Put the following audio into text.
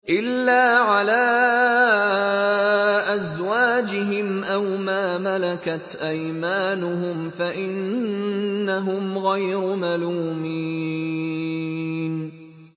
إِلَّا عَلَىٰ أَزْوَاجِهِمْ أَوْ مَا مَلَكَتْ أَيْمَانُهُمْ فَإِنَّهُمْ غَيْرُ مَلُومِينَ